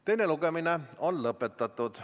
Teine lugemine on lõpetatud.